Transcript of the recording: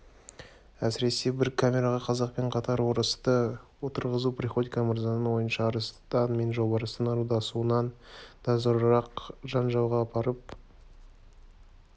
әсіресе бір камераға қазақпен қатар орысты отырғызу приходько мырзаның ойынша арыстан мен жолбарыстың ырылдасуынан да зорырақ жанжалға апарып